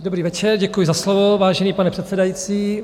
Dobrý večer, děkuji za slovo, vážený pane předsedající.